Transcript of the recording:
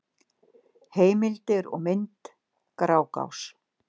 Heimildir og mynd: Grágás.